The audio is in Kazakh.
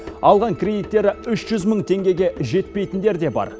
алған кредиттері үш жүз мың теңгеге жетпейтіндер де бар